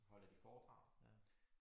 Holder de foredrag